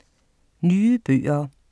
Nye bøger